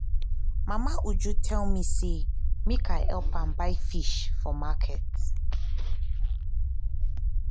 mama uju tell me say make i help am buy fish for market